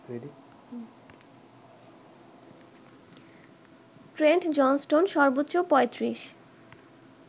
Trent Johnston সর্বোচ্চ ৩৫